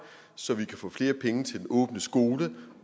så vi kan få flere penge til den åbne skole